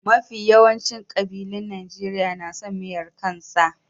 Mafi yawancin kabilun Najeriya na son miyar kan sa.